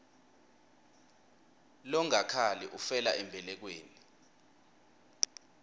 longakhali ufela embelekweni